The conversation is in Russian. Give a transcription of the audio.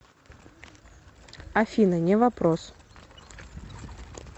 афина не вопрос